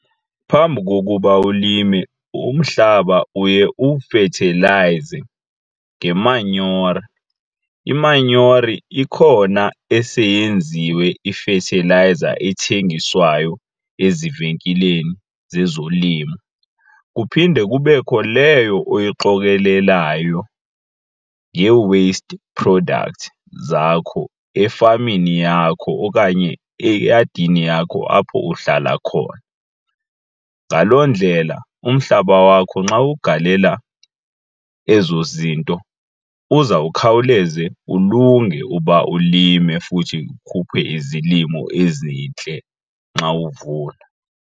Phambi kokuba ulime umhlaba uye uwufethelayize ngemanyora. Imanyora ikhona eseyenziwe ifethilayiza ethengiswayo ezivenkileni zezolimo kuphinde kubekho leyo oyiqokelelayo ngee-waste product zakho efameni yakho okanye eyadini yakho apho uhlala khona. Ngaloo ndlela umhlaba wakho nxa ugalela ezo zinto uza kukhawuleze ulunge uba ulime futhi ukhuphe izilimo ezintle nxa uvuna.